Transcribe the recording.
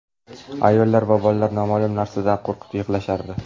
Ayollar va bolalar noma’lum narsadan qo‘rqib, yig‘lashardi.